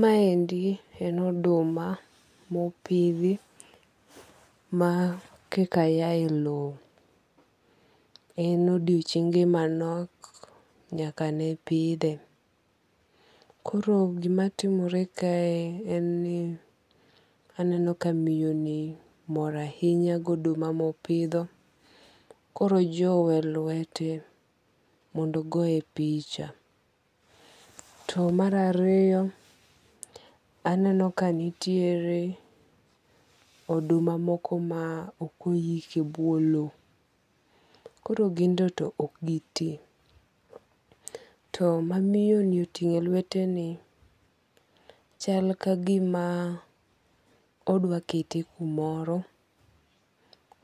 Ma endi en oduma mopidhi ma koka yae low. En odiochienge manok nyaka ne pidhe. Koro gima timore kae en ni aneno ka miyo ni mor ahinya goduma mopidho. Koro ojowe e lwete mondo goye picha. To mar ariyo, aneno ka nitiere oduma moko ma ok oyiki e buo low. Koro gin to ok gi ti. To mamiyo ni oting'o e lwete ni chal ka gima odwa kete kumoro.